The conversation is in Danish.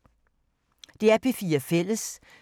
DR P4 Fælles